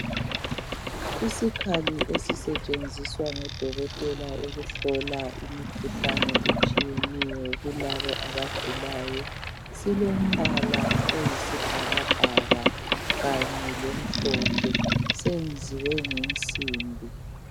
Isikali esisetshenziswa ngodokotela ukuhlola imikhuhlane etshiyeneyo kulabo abagulayo. Silombala oyisibhakabhaka kanye lomhlophe .Senziwe ngensimbi